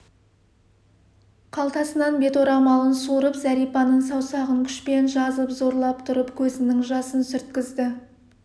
қалтасынан бет орамалын суырып зәрипаның саусағын күшпен жазып зорлап тұрып көзінің жасын сүрткізді